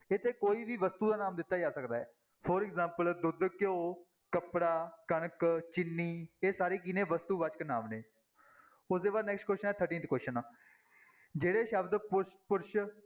ਇੱਥੇ ਕੋਈ ਵੀ ਵਸਤੂ ਦਾ ਨਾਮ ਦਿੱਤਾ ਜਾ ਸਕਦਾ ਹੈ for example ਦੁੱਧ, ਘਿਓ, ਕੱਪੜਾ, ਕਣਕ, ਚੀਨੀ ਇਹ ਸਾਰੇ ਕੀ ਨੇ ਵਸਤੂ ਵਾਚਕ ਨਾਂਵ ਨੇ, ਉਸ ਤੋਂ ਬਾਅਦ next question ਹੈ thirteenth question ਜਿਹੜੇ ਸ਼ਬਦ ਪੁ ਪੁਰਸ਼,